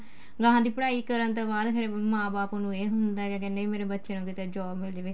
ਗਾਹ ਦੀ ਪੜ੍ਹਾਈ ਕਰਨ ਤੋਂ ਬਾਅਦ ਫੇਰ ਮਾਂ ਬਾਪ ਨੂੰ ਇਹ ਹੁੰਦਾ ਕਿਆ ਕਹਿਨੇ ਆ ਕੀ ਮੇਰੇ ਬੱਚਿਆਂ ਨੂੰ ਤਾਂ job ਮਿਲ ਜਾਵੇ